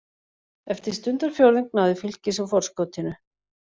Eftir stundarfjórðung náði Fylkir svo forskotinu.